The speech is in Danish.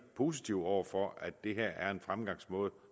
positive over for at det her er en fremgangsmåde